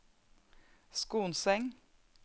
Skonseng